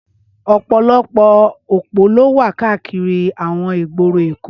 Ọpọlọpọ ópó ló wà kàákìrí awọn igbóró Ékó